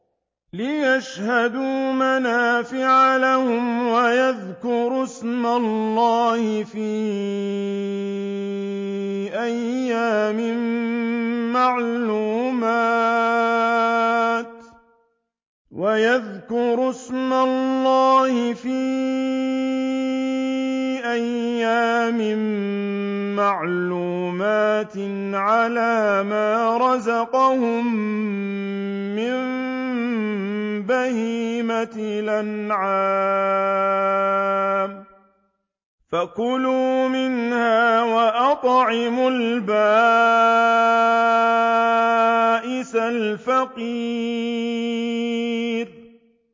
لِّيَشْهَدُوا مَنَافِعَ لَهُمْ وَيَذْكُرُوا اسْمَ اللَّهِ فِي أَيَّامٍ مَّعْلُومَاتٍ عَلَىٰ مَا رَزَقَهُم مِّن بَهِيمَةِ الْأَنْعَامِ ۖ فَكُلُوا مِنْهَا وَأَطْعِمُوا الْبَائِسَ الْفَقِيرَ